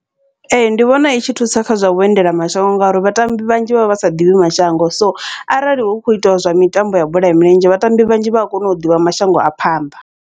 Ee, ndi vhona i tshi thusa kha zwa vhuendela mashango ngauri vhatambi vhanzhi vha vha vha sa ḓivhi mashango, so arali hu kho itiwa zwa mitambo ya bola ya milenzhe vhatambi vhanzhi vha a kona u ḓivha mashango a phanḓa.